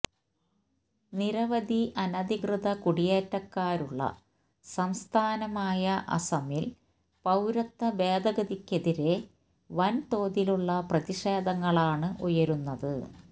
നിരവധി അനധികൃത കുടിയേറ്റക്കാരുള്ള സംസ്ഥാനമായ അസമില് പൌരത്വ ഭേദഗതിക്കെതിരേ വന് തോതിലുള്ള പ്രതിക്ഷേധങ്ങളാണ് ഉയരുന്നത്